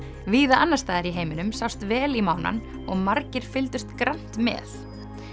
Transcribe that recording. víða annars staðar í heiminum sást vel í og margir fylgdust grannt með